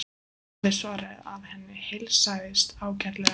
Daði svaraði að henni heilsaðist ágætlega.